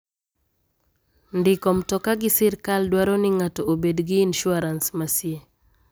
Ndiko mtoka gi sirkal dwaro ni ng'ato obed gi insuarans masie.